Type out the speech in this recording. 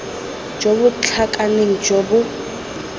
jo bo tlhakaneng jo bo